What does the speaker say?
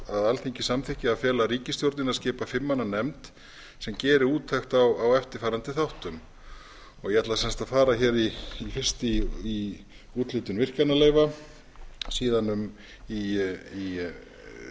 að alþingi samþykki að fela ríkisstjórninni að skipa fimm manna nefnd sem geri úttekt á eftirfarandi þáttum ég ætla að fara hér fyrst í úthlutun virkjanaleyfa síðan í eignarhlut á landsvirkjun